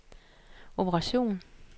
operation